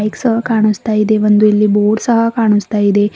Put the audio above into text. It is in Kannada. ಬಾಕ್ಸ್ ಕಾಣಸ್ತಾ ಇದೆ ಒಂದು ಬೋರ್ಡ್ ಸಹ ಕಾಣಸ್ತಾ ಇದೆ.